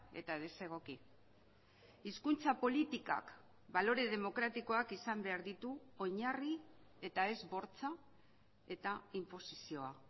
eta desegoki hizkuntza politikak balore demokratikoak izan behar ditu oinarri eta ez bortxa eta inposizioa